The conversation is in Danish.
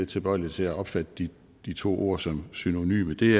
tilbøjelig til at opfatte de de to ord som synonyme det